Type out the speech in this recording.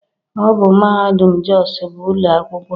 Ọ bụ mahadum Jos bu ụlọ akwụkwọ